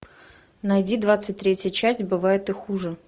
найди двадцать третья часть бывает и хуже